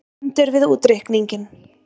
Stendur við útreikninginn